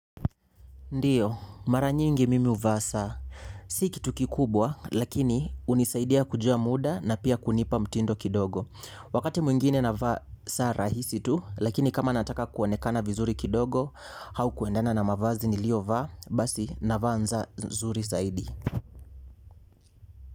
Ndio, mara nyingi mimi huvaa saa. Si kitu kikubwa, lakini hunisaidia kujua muda na pia kunipa mtindo kidogo. Wakati mwingine navaa saa rahisi tu, lakini kama nataka kuoenekana vizuri kidogo, au kuendana na mavazi niliyo vaa, basi navaa saa nzuri saidi.